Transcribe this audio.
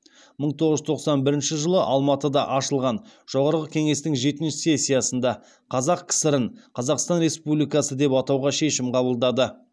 мың тоғыз жүз тоқсан бірінші жылы алматыда ашылған жоғарғы кеңестің жетінші сессиясында қазақ кср ін қазақстан республикасы деп атауға шешім қабылдады